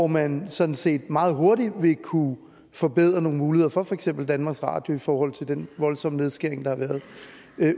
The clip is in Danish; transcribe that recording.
man sådan set meget hurtigt vil kunne forbedre nogle muligheder for for eksempel danmarks radio i forhold til de voldsomme nedskæringer der har været